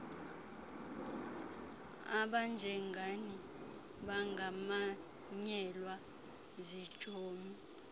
abanjengani bangamanyelwa zitshomi